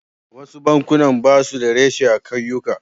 Wasu bankunan ba su da reshe a ƙauyuka.